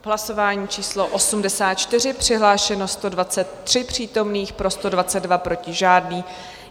V hlasování číslo 84 přihlášeno 123 přítomných, pro 122, proti žádný.